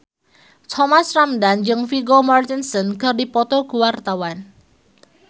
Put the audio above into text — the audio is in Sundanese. Thomas Ramdhan jeung Vigo Mortensen keur dipoto ku wartawan